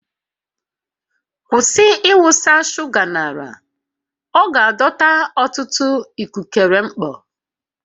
Kwụsị ịwụsa shuga n'ala, ọ ga-adọta ọtụtụ ikukere mkpọ